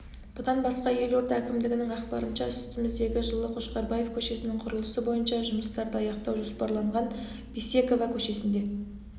бұдан басқа елорда әкімдігінің ақпарынша үстіміздегі жылы қошқарбаев көшесінің құрылысы бойынша жұмыстарды аяқтау жоспарланған бейсекова көшесінде